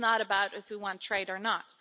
This is not about if we want trade or not.